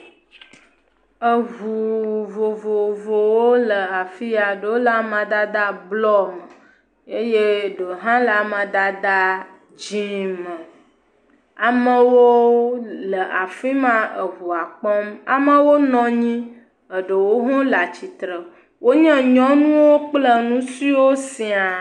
Ŋu vovovowo le afia, ɖewo le amadede blɔ me eye ɖewo hã le amadede dzɛ̃ me, amewo le afi ma le ŋua kpɔm. Ame aɖewo nɔ anyi, ɖewo hã le atsitre, wonye nyɔnuwo kple ŋutsuwo siã.